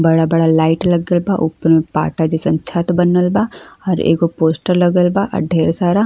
बड़ा बड़ा लाइट लगल बा। ऊपर में पाटा जइसन छत बनल बा और एगो पोस्टर लगल बा। अ ढ़ेर सारा --